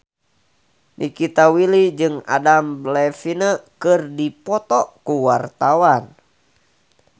Nikita Willy jeung Adam Levine keur dipoto ku wartawan